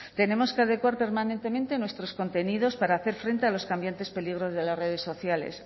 tenemos que adecuar permanentemente nuestros contenidos para hacer frente a los cambiantes peligros de las redes sociales